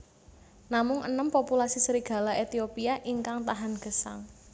Namung enem populasi serigala Ethiopia ingkang tahan gesang